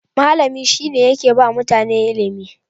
malami shine yakeba mutane ilimi